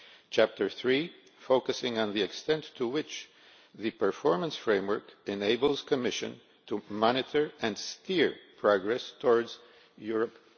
Chapter 3 focuses on the extent to which the performance framework enables the Commission to monitor and steer progress towards Europe